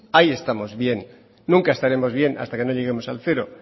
ahí estamos bien nunca estaremos bien hasta que no lleguemos al cero